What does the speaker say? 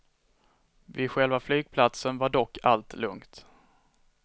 Vid själva flygplatsen var dock allt lugnt.